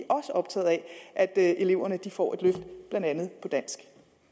også optaget af at eleverne får et løft blandt andet i dansk